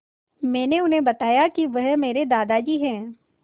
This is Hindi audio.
मैंने उन्हें बताया कि वह मेरे दादाजी हैं